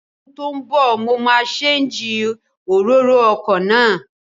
Ní ọdún tó ń bọ̀, mo máa séǹjì òróró ọkọ̀ náà